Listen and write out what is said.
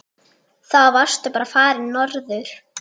Þá varstu bara farinn norður.